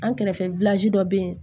An kɛrɛfɛ dɔ bɛ yen